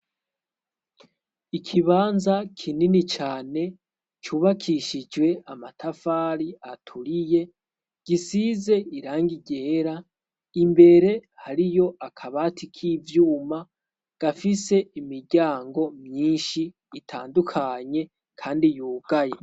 ikibanza kinini cane cubakishijwe amatafari aturiye gisize irangi ryera imbere hariyo akabati k'ivyuma gafise imiryango myinshi itandukanye kandi yugaye